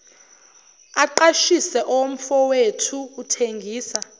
aqashise owomfowethu uthengisa